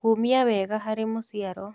Kũũmia wega harĩ mũciario